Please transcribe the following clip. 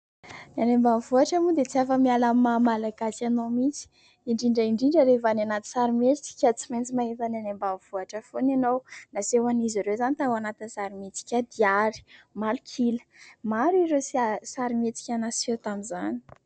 Ny any ambanivohitra moa dia tsy afa-miala amin' ny mahamalagasy anao mihintsy. Indrindra indrindra rehefa anaty sarimihetsika tsy maintsy mahita ny any ambanivohitra foana ianao. Nasehoan' izy ireo izany tao anatin' sarimihetsika Diary, Malok'ila. Maro ireo sarimihetsika naseho tamin' izany.